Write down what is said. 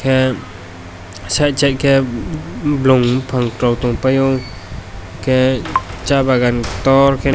ah side side ke bolong bopang rok tong pai o hingke sa bagan torke.